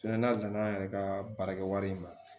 n'a nana an yɛrɛ ka baarakɛ wari in ma